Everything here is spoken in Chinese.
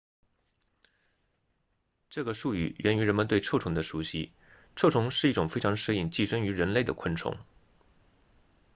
这个术语源于人们对臭虫的熟悉臭虫是一种非常适应寄生于人类的昆虫